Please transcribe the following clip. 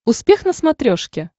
успех на смотрешке